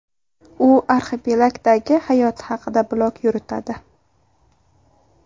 U arxipelagdagi hayoti haqida blog yuritadi.